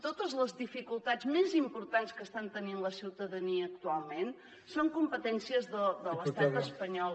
totes les dificultats més importants que està tenint la ciutadania actualment són competències de l’estat espanyol